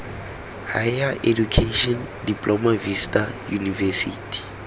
higher education diploma vista university